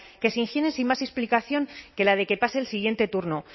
que se higiene sin más explicación que la de que pase el siguiente turno